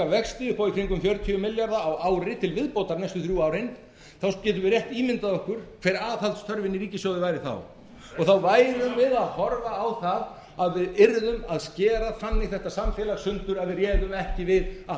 vexti upp á kringum fjörutíu milljarða á ári til viðbótar næstu þrjú árin þá getum við rétt ímyndað okkur hvað aðhaldsþörfin í ríkissjóði væri þá þá værum við að horfa á það að við yrðum að skera þannig þetta samfélag sundur að við réðum ekki við að